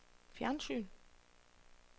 fjernsyn